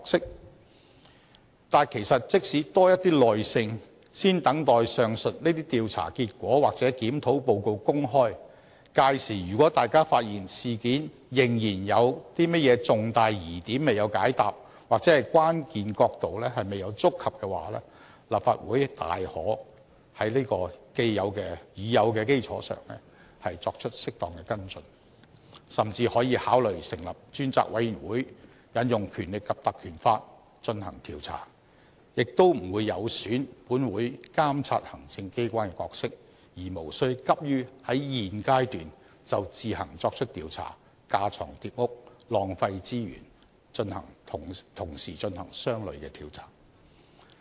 但是，大家不妨給予多一點耐性，先等待上述這些調查結果或檢討報告公開，屆時如果大家發現事件仍然有甚麼重大疑點未有解答或關鍵角度未有觸及的話，立法會大可在已有的基礎上作出適當跟進，甚至可以考慮成立專責委員會引用《條例》進行調查，亦不會有損本會監察行政機關的角色，而無需急於在現階段就自行作出調查，架床疊屋、浪費資源同時進行相類的調查。